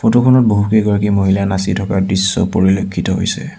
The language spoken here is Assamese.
ফটো খনত বহুকেইগৰাকী মহিলা নাচি থকাৰ দৃশ্য পৰিলক্ষিত হৈছে।